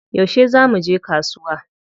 Yaushe za muje kasuwa?